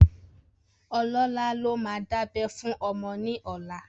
Olólà ló máa dábẹ́ fún ọmọ ní ọlá